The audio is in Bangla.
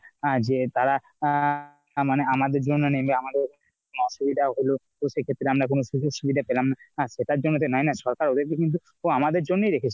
আহ যে তার আহ মানে আমাদের যে মানে গিয়ে আমাদের আমাদের অসুবিধাও হল তো সে ক্ষেত্রে আমরা কোনো সুযোগ সুবিধা পেলাম না। সেটার জন্য তো নয় না সরকার ওদের কে কিন্তু তো আমাদের জন্যই রেখেছে।